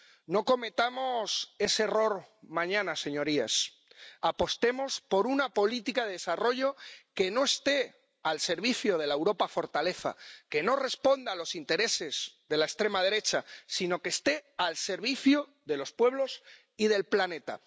No cometamos ese error mañana, señorías. Apostemos por una política de desarrollo que no esté al servicio de la Europa fortaleza, que no responda a los intereses de la extrema derecha sino que esté al servicio de los pueblos y del planeta.